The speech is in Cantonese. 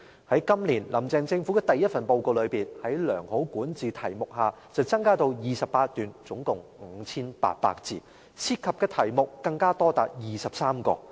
在今年，"林鄭"政府的第一份報告中，在良好管治題目下增至28段，一共 5,800 字，涉及的題目更多達23個。